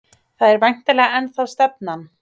Það er væntanlega ennþá stefnan?